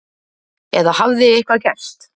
Eða hafði eitthvað gerst?